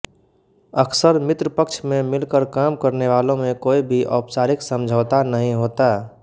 अक्सर मित्रपक्ष में मिलकर काम करने वालों में कोई भी औपचारिक समझौता नहीं होता